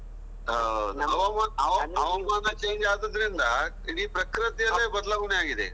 ಹೌದು ಹವಾಮಾನ change ಆದದ್ರಿಂದ ಇಡೀ ಪ್ರಕೃತಿಯಲ್ಲಿ ಬದಲಾವಣೆ ಆಗಿದೆ.